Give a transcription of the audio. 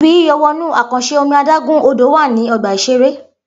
Ibi yíyọ̀ wọnú àkànṣe omi adágún-Odò wà ní ọgbà-ìṣeré